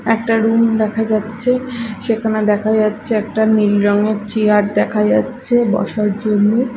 একটা রুম দেখা যাচ্ছে সেখানে দেখা যাচ্ছে একটা নীল রঙের চেয়ার দেখা যাচ্ছে বসার জন্য।